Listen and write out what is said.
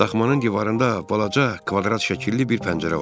Daxmanın divarında balaca, kvadrat şəkilli bir pəncərə var idi.